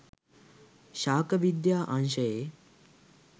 ශාක විද්‍යා අංශයේ